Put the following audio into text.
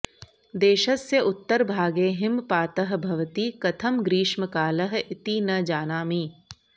देशस्य उत्तरभागे हिमपातः भवति कथं ग्रीष्मकालः इति न जानामि